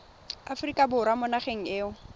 aforika borwa mo nageng eo